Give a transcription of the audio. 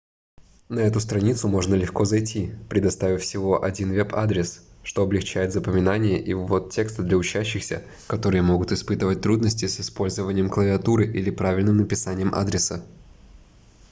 на эту страницу можно легко зайти предоставив всего один веб-адрес что облегчает запоминание и ввод текста для учащихся которые могут испытывать трудности с использованием клавиатуры или правильным написанием адреса